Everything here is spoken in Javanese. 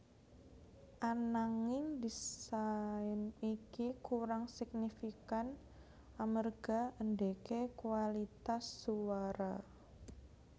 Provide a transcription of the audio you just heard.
Ananging désain iki kurang signifikan amerga endeke kuwalitas suwara